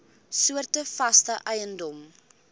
soorte vaste eiendom